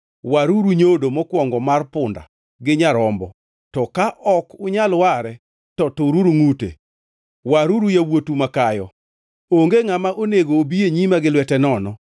Waruru nyodo mokwongo mar punda gi nyarombo, to ka ok unyal ware, to tururu ngʼute. Waruru yawuotu makayo. “Onge ngʼama onego obi e nyima gi lwete nono.